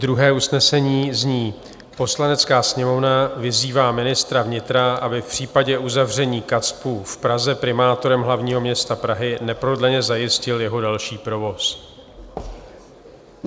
Druhé usnesení zní: "Poslanecká sněmovna vyzývá ministra vnitra, aby v případě uzavření KACPU v Praze primátorem hlavního města Prahy neprodleně zajistil jeho další provoz."